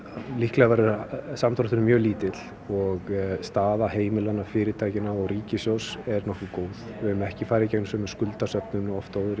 líklega verður samdrátturinn mjög lítill og staða heimilanna fyrirtækjanna og ríkissjóðs er nokkuð góð við höfum ekki farið í gegnum sömu skuldasöfnun og oft áður